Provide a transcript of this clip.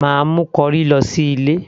mà á mú corrie lọ sí ilé